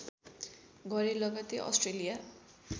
गरे लगतै अस्ट्रेलिया